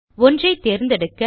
ஒன்றை தேர்ந்தெடுக்க